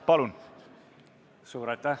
Palun!